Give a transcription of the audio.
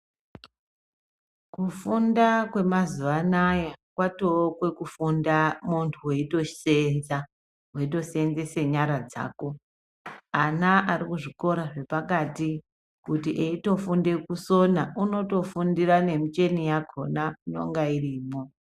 Kufunda kwemazuwa anayaa kwatookwe kufunda muntu weitoseenza weitoseenzese nyara dzako ana ari kuzvikora zvepakati kuti eitofundire kusona unotofundire nenjeni yakhona inenge iripo.